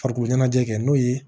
Farikolo ɲɛnajɛ kɛ n'o ye